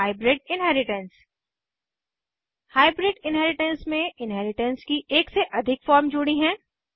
और hybrid inheritance hybrid inheritance में inheritance की एक से अधिक फॉर्म जुड़ी है